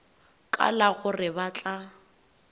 ka la gore ba tla